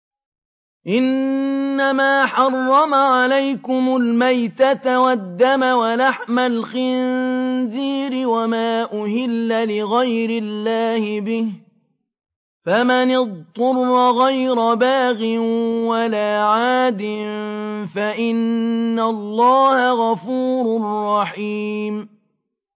إِنَّمَا حَرَّمَ عَلَيْكُمُ الْمَيْتَةَ وَالدَّمَ وَلَحْمَ الْخِنزِيرِ وَمَا أُهِلَّ لِغَيْرِ اللَّهِ بِهِ ۖ فَمَنِ اضْطُرَّ غَيْرَ بَاغٍ وَلَا عَادٍ فَإِنَّ اللَّهَ غَفُورٌ رَّحِيمٌ